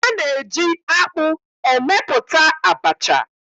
A na-eji akpụ emepụta abacha.